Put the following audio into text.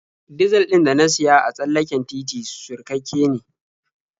Dizal ɗin da na siya a tsallaken titi surkakke ne.